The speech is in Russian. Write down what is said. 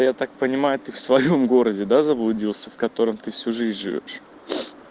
я так понимаю ты в своём городе да заблудился в котором ты всю жизнь живёшь